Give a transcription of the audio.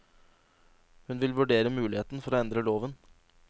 Hun vil vurdere muligheten for å endre loven.